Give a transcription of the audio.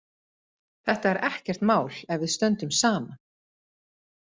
Þetta er ekkert mál ef við stöndum saman.